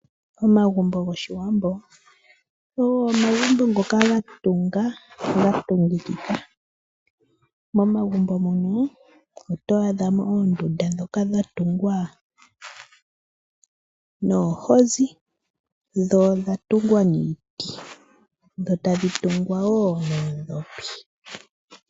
Omagumbo goshiwambo ogo omagumbo ngoka ga tunga ga tungikika , momagumbo mono oto adhamo onduunda ndhoka dha tungwa noohozi dhoo odha tungwa niiti tadhi tungwa woo noodhopi.